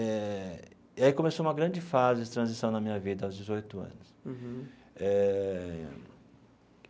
Eh e aí começou uma grande fase de transição na minha vida, aos dezoito anos eh.